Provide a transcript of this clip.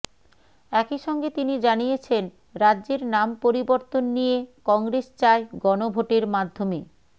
একইসঙ্গে তিনি জানিয়েছেন রাজ্যের নাম পরিবর্তন নিয়ে কংগ্রেস চায় গণভোটের মাধ্যমে